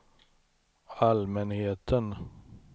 allmänheten